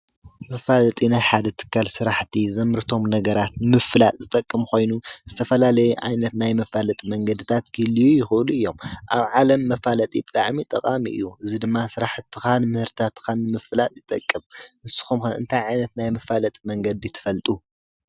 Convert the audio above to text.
መፋለጢ ናይ ሓደ ትካል ስራሕቲ ዘምርቶም ነገራት ንምፍላጥ ዝጠቅም ኮይኑ ዝተፈላለየ ዓይነት ናይ መፋለጢ መንገዲታት ክህልዉ ይኽእሉ እዩም፡፡ ኣብ ዓለም መፋለጢ ብጣዕሚ ጠቓሚ እዩ፡፡ እዚ ድማ ስራሕትኻን ምህርታትካን ንምፍላጥ ይጠቅም፡፡ ንስኩም ከ እንታይ ዓይነት ናይ መፋለጢ መንገዲ ትፈልጡ?